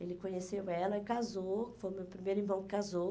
Ele conheceu ela e casou, foi o meu primeiro irmão que casou.